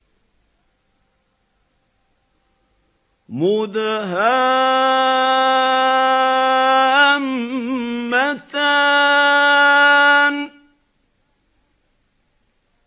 مُدْهَامَّتَانِ